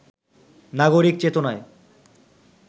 নাগরিক চেতনায়